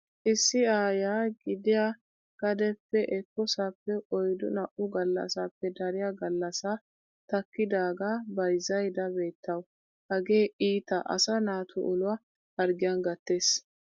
Issi aayyiya gidiya gadeppe ekkoosappe oyddu naa'u gallasappe dariya gallassaa takkidaagaa bayzzaydda beettawu. Hagee iita asaa nata uluwa harggiyan gattes.